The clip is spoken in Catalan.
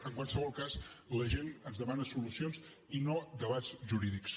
en qualsevol cas la gent ens demana solucions i no debats jurídics